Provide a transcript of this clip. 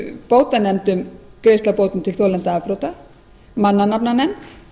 eru bótanefndin greiðsla bóta til þolenda afbrota mannanafnanefnd